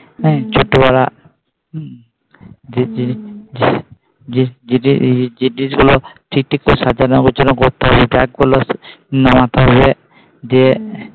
যে ডিস গুলো ঠিক ঠিক করে সাজানো গোছানো করতে হবে Bag গুলো নামাতে হবে দিয়ে